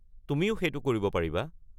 তুমিও সেইটো কৰিব পাৰিবা।